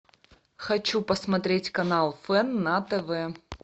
хочу посмотреть канал фэн на тв